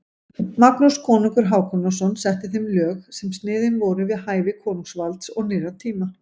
Magnús konungur Hákonarson setti þeim lög sem sniðin voru við hæfi konungsvalds og nýrra tíma.